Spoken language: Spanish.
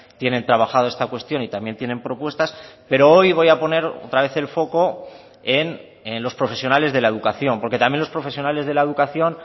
tienen trabajado esta cuestión y también tienen propuestas pero hoy voy a poner otra vez el foco en los profesionales de la educación porque también los profesionales de la educación